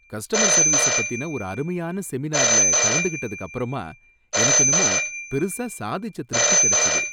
Customer service பத்தின ஒரு அருமையான செமினார்ல கலந்துக்கிட்டதுக்கப்பரமா, எனக்கு என்னமோ பெருசா சாதிச்ச திருப்தி கிடைச்சது.